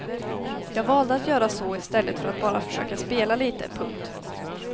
Jag valde att göra så i stället för att bara försöka spela lite. punkt